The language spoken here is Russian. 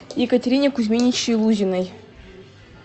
екатерине кузьминичне лузиной